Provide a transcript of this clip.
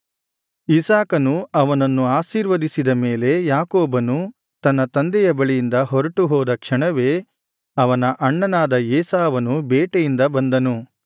ಇಸಾಕನು ಅವನನ್ನು ಆಶೀರ್ವದಿಸಿದ ಮೇಲೆ ಯಾಕೋಬನು ತನ್ನ ತಂದೆಯ ಬಳಿಯಿಂದ ಹೊರಟುಹೋದ ಕ್ಷಣವೇ ಅವನ ಅಣ್ಣನಾದ ಏಸಾವನು ಬೇಟೆಯಿಂದ ಬಂದನು